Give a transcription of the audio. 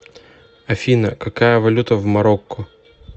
афина какая валюта в марокко